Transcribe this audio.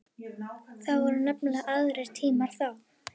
Það voru nefnilega aðrir tímar þá.